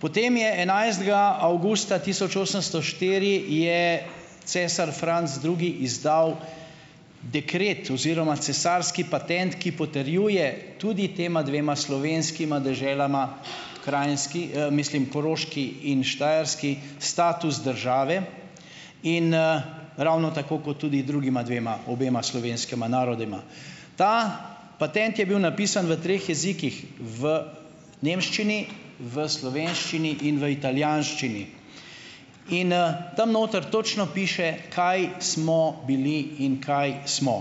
Potem je enajstega avgusta tisoč osemsto štiri je cesar Franc Drugi izdal dekret oziroma cesarski patent, ki potrjuje tudi tema dvema slovenskima deželama, Krajnski, mislim Koroški in Štajerski, status države in, ravno tako kot tudi drugima dvema obema slovenskima narodoma. Ta patent je bil napisan v treh jezikih, v nemščini, v slovenščini in v italijanščini. In, tam noter točno piše, kaj smo bili in kaj smo.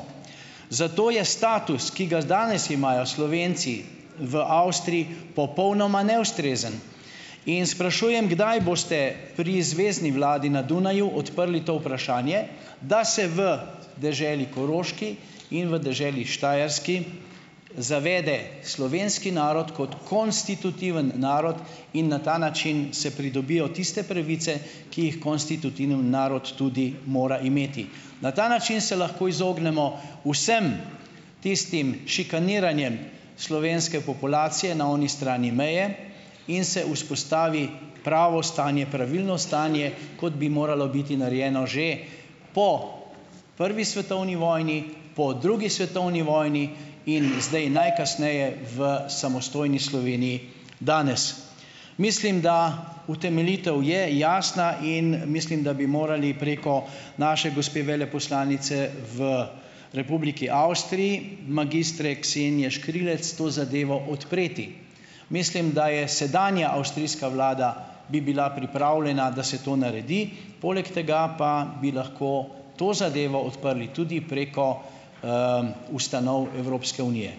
Zato je status, ki ga z danes imajo Slovenci v Avstriji, popolnoma neustrezen. In sprašujem: "Kdaj boste pri zvezni vladi na Dunaju odprli to vprašanje, da se v deželi Koroški in v deželi Štajerski zavede slovenski narod kot konstitutivni narod in na ta način se pridobijo tiste pravice, ki jih konstitutivni narod tudi mora imeti. Na ta način se lahko izognemo vsem tistim šikaniranjem slovenske populacije na oni strani meje in se vzpostavi pravo stanje, pravilno stanje, kot bi moralo biti narejeno že po prvi svetovni vojni, po drugi svetovni vojni in zdaj najkasneje v samostojni Sloveniji danes. Mislim, da utemeljitev je jasna in, mislim, da bi morali preko naše gospe veleposlanice v Republiki Avstriji, magistre Ksenije Škrilec, to zadevo odpreti. Mislim, da je sedanja avstrijska vlada, bi bila pripravljena, da se to naredi. Poleg tega pa bi lahko to zadevo odprli tudi preko, ustanov Evropske unije.